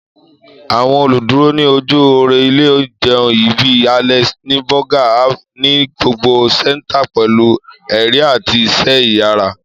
Àwọn oluduro ni oju ore ile-ìjẹun yii bi Alex ni Burger Haven, nigbagbogbo ṣetan pẹlu ẹrin ati iṣẹ iyara.